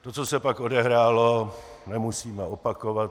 To, co se pak odehrálo, nemusíme opakovat.